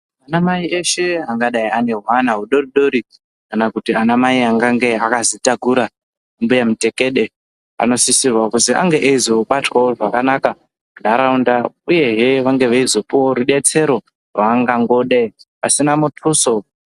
Anamai eshe a gadai ane hwana hudodori, kana kuti anamai angadai akazvitakura mbuya mutekede anosisa kuti angewo eizobatwe zvakanaka muntharaunda uye angopiwewo rudetsero rwaangadai eingoda pasi munthuso.